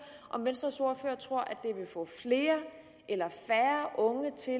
om venstres ordfører tror det vil få flere eller færre unge til